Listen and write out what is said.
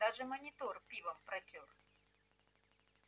даже монитор пивом протёр